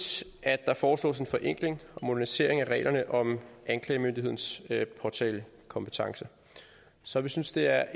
at der foreslås en forenkling og modernisering af reglerne om anklagemyndighedens påtalekompetence så vi synes det er